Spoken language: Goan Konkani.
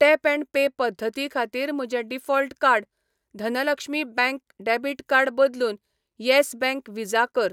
टॅप ऍण्ड पे पद्दती खातीर म्हजें default card Dhanlaxmi bank debit card बदलून यॅस बँक व्हिजा कर.